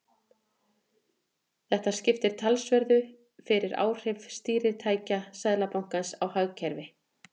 Þetta skiptir talsverðu fyrir áhrif stýritækja Seðlabankans á hagkerfið.